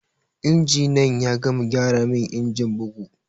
Injiniyan ya gama gyara min injin bugu